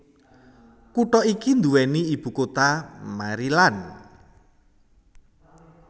Kutha iki duweni ibu kota Maryland